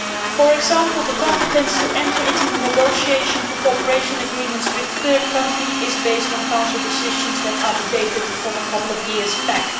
For example, the competence to enter into negotiations for cooperation agreements with third countries is based on Council decisions that date from a couple of years back.